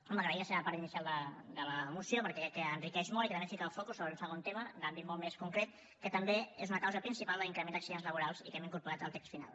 home agrair la seva part inicial de la moció perquè crec que l’enriqueix molt i que també fica el focus sobre un segon tema d’àmbit molt més concret que també és una causa principal de l’increment d’accidents laborals i que hem incorporat al text final